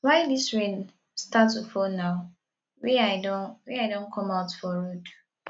why dis rain start to fall now wey i don wey i don come out for road